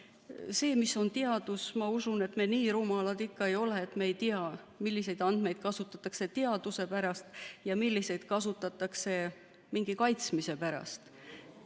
Selle kohta, mis on teadus, ma usun, et me nii rumalad ikka ei ole, et me ei tea, milliseid andmeid kasutatakse teaduse pärast ja milliseid kasutatakse mingi kaitsmise pärast.